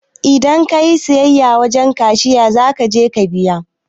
Idan kayi siyayya wajen cashiya zakaje ka biya